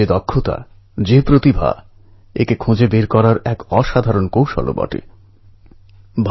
যাই হোক যখন ভালো খবর এলো সারা বিশ্ব শান্তি পেল